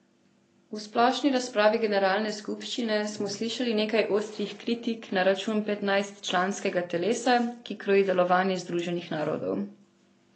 V splošni razpravi generalne skupščine smo slišali nekaj ostrih kritik na račun petnajstčlanskega telesa, ki kroji delovanje Združenih narodov.